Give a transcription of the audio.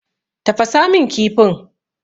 Tafasa min kifin.